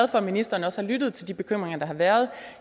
for at ministeren også har lyttet til de bekymringer der har været